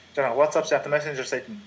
жаңағы ватсапп сияқты жасайтын